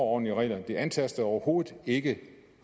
ordentlige regler det antaster overhovedet ikke